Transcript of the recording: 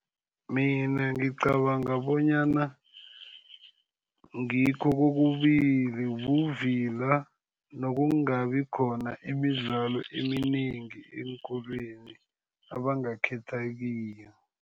Mina ngicabanga bonyana ngikho kokubili. Buvila nokungabi khona imidlalo eminengi eenkolweni abangakhetha kiyo.